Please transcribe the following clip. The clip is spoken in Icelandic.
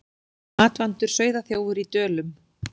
Matvandur sauðaþjófur í Dölum